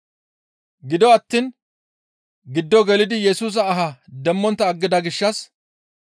Gido attiin giddo gelidi Yesusa ahaa demmontta aggida gishshas,